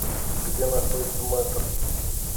где находится мэтр